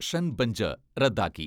ഷൻ ബഞ്ച് റദ്ദാക്കി.